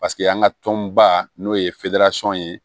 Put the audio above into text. Paseke an ka tɔnba n'o ye ye